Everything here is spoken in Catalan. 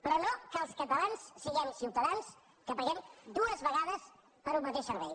però no que els catalans siguem ciutadans que paguem dues vegades per un mateix servei